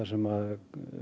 sem